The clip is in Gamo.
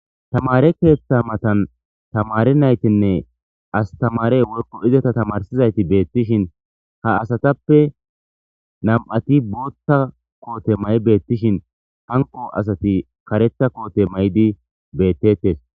Tamare keeththa matan tamare naytinne astamare worko izata tamarsizayti beettishin ha asatappe nam'ati bootta koote may beettishin hanko asati karetha koote maydi beettettes